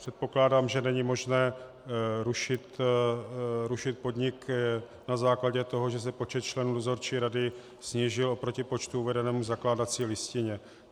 Předpokládám, že není možné rušit podnik na základě toho, že se počet členů dozorčí rady snížil oproti počtu uvedenému v zakládací listině.